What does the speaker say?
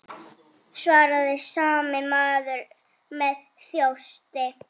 svaraði sami maður með þjósti.